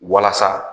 Walasa